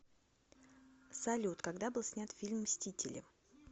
салют когда был снят фильм мстители